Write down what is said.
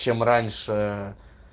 чем раньше